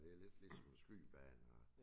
Det lidt ligesom en skydebane og